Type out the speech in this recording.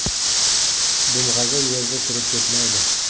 – Dumg‘aza yerda chirib ketmaydi.